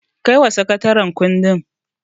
Kaiwa sakataren kundin.